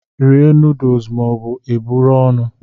Rie nọọdụs ma ọ bụ i buru ọnụ!